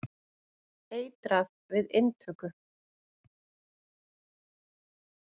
Eitrað við inntöku.